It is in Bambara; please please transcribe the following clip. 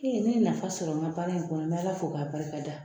E n ye nafa sɔrɔ n ka baara in kɔnɔ n bɛ Ala fo k'a barikada